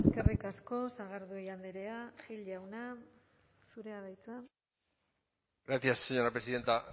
eskerrik asko sagardui andrea gil jauna zurea da hitza gracias señora presidenta